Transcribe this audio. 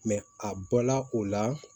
a bɔla o la